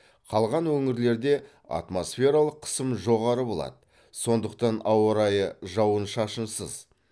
қалған өңірлерде атмосфералық қысым жоғары болады сондықтан ауа райы жауын шашынсыз